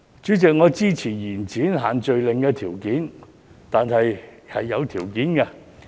主席，我支持延展限聚令，但卻是有條件的。